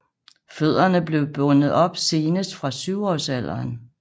Fødderne blev bundet op senest fra syvårsalderen